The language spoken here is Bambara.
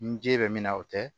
Ni ji bɛ min na o tɛ